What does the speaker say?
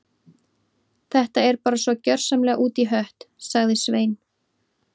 Þetta er bara svo gjörsamlega út í hött- sagði Svein